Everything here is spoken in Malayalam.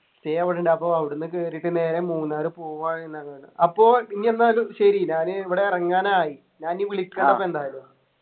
stay അവിടെണ്ട് അപ്പൊ അവിട്ന്ന് കേറീട്ട് നേരെ മൂന്നാറു പോവ്വാ അപ്പൊ ഇനി എന്നാല് ശരി ഞാൻ ഇവിടെ എറങ്ങാനായി ഞാൻ വിളിക്കാട്ടപ്പൊ എന്തായാലും